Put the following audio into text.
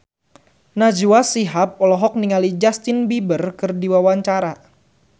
Najwa Shihab olohok ningali Justin Beiber keur diwawancara